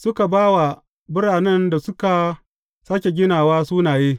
Suka ba wa biranen da suka sāke ginawa sunaye.